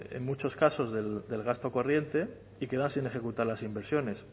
en muchos casos del gasto corriente y quedan sin ejecutar las inversiones